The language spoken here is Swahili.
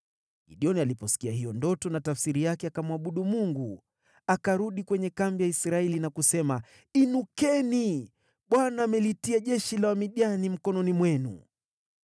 Gideoni alipoisikia hiyo ndoto na tafsiri yake, akamwabudu Mungu. Akarudi kwenye kambi ya Israeli na kusema, “Inukeni! Bwana amelitia jeshi la Wamidiani mikononi mwenu.”